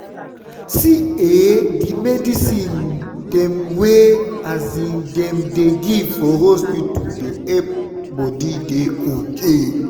see eh the medicine dem wey dem dey give for hospita dey epp body dey ok